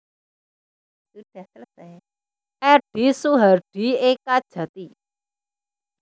Edi Suhardi Ekajati